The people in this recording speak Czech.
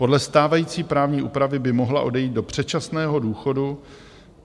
Podle stávající právní úpravy by mohla odejít do předčasného důchodu.